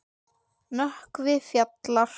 Nökkvi Fjalar.